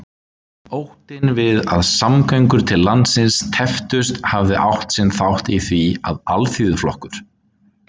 Óttinn við að samgöngur til landsins tepptust hafði átt sinn þátt í því, að Alþýðuflokkur